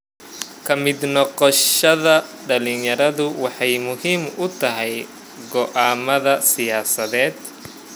Ka mid noqoshada dhalinyaradu waxay muhiim u tahay go'aamada siyaasadeed.